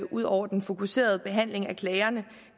udover den fokuserede behandling af klagerne